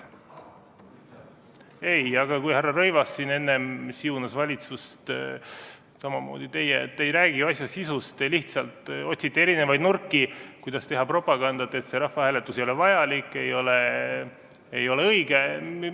Ei, aga härra Rõivas siin enne siunas valitsust, samamoodi teie, te ei räägi asja sisust, te lihtsalt otsite erinevaid nurki, kuidas teha propagandat, et see rahvahääletus ei ole vajalik, ei ole õige.